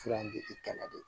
Fura in bɛ i kɛlɛ de